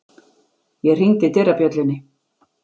Ég hringdi dyrabjöllunni.